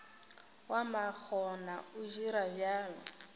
wa makgona o dira bjalo